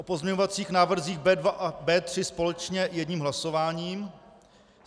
O pozměňovacích návrzích B2 a B3 společně jedním hlasováním.